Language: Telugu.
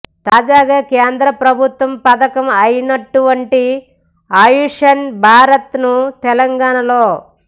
తాజాగా కేంద్ర ప్రభుత్వ పథకం అయినటువంటి ఆయుష్మాన్ భారత్ ను తెలంగాణలో